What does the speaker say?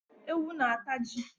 Ewu na ata ji